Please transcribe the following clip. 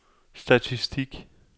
statistik